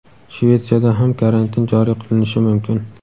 Shvetsiyada ham karantin joriy qilinishi mumkin.